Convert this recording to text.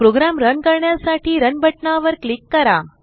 programme run करण्यासाठी run बटनावर click करा